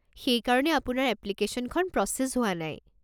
সেইকাৰণে আপোনাৰ এপ্লিকেশ্যনখন প্ৰচেছ হোৱা নাই।